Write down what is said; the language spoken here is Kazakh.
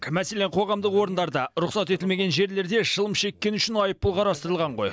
мәселен қоғамдық орындарда рұқсат етілмеген жерлерде шылым шеккені үшін айыппұл қарастырылған ғой